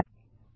धन्यवाद